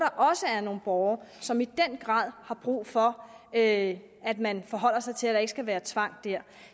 nogle borgere som i den grad har brug for at at man forholder sig til det at der ikke skal være tvang der